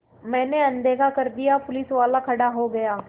मैंने अनदेखा कर दिया पुलिसवाला खड़ा हो गया